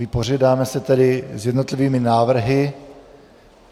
Vypořádáme se tedy s jednotlivými návrhy.